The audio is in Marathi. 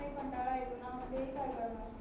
करणार